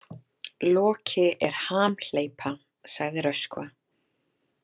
Loki er hamhleypa, sagði Röskva.